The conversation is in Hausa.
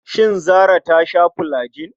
Shin Zarah ta sha fulajin?